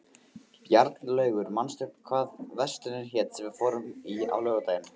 Bjarnlaugur, manstu hvað verslunin hét sem við fórum í á laugardaginn?